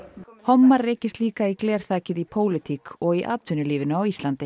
hommar rekist líka í glerþakið í pólitík og í atvinnulífinu á Íslandi